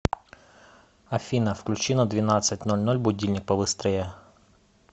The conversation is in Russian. афина включи на двенадцать ноль ноль будильник побыстрее